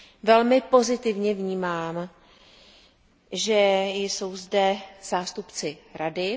Velmi pozitivně vnímám, že jsou zde zástupci Rady.